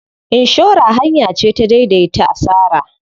Inshora hanya ce ta dai dai ta asara.